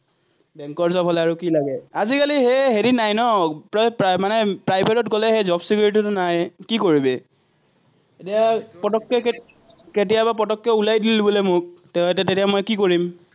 বেঙ্কৰ job হ'লে আৰু কি লাগে, আজিকালি সেই হেৰি নাই ন, মানে private ত গ'লে সেই job security টো নাই, কি কৰিবি। এতিয়া ফটক্কে কেতিয়াবা ফটক্কে ওলাই দিলে বোলে মোক, আহ তেতিয়া মই কি কৰিম?